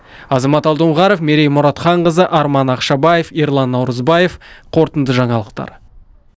азамат алдоңғаров мерей мұратханқызы арман ақшабаев ерлан наурызбаев қорытынды жаңалықтар